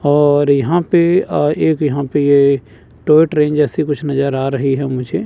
और यहाँ पे अ एक यहाँ पे ये टॉय ट्रेन जैसी कुछ नज़र आ रही है मुझे।